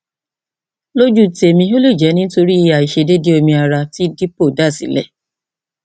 lójú tèmi ó lè jẹ nítorí àìṣedéédéé omi ara tí depo dá sílẹ